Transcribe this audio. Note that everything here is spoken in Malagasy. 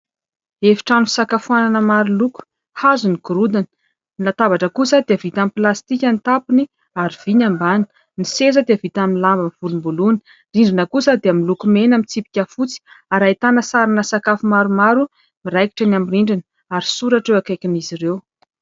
Efi-trano fisakafoanana maro loko. Hazo ny gorodona. Ny latabatra kosa dia vita amin'ny plastika ny tapany ary vy ny ambanany. Ny seza dia vita amin'ny lamban'ny volomboloana. Rindrina kosa dia miloko mena mitsipika fotsy ary ahitana sarin'ny sakafo maromaro miraikitra eny amin'ny rindrina ary soratra eo ankaikin'izy ireo.